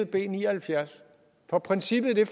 b ni og halvfjerds for princippet i det